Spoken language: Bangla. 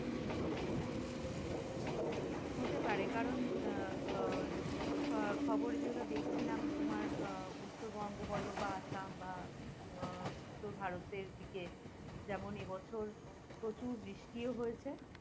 হতে পারে কারন আহ খবর যেগুল দেখছিলাম তোমার আহ উত্তর বঙ্গ বল বা আসাম উত্তর ভারতের দিকে যেমন এ বছর প্রচুর বৃষ্টি হয়েছে